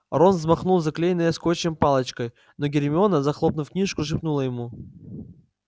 рон взмахнул заклеенной скотчем палочкой но гермиона захлопнув книжку шепнула ему